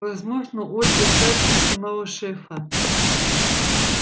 возможно ольга старше самого шефа